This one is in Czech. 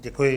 Děkuji.